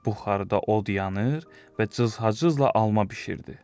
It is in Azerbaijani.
Buxarda od yanır və cızhızla alma bişirdi.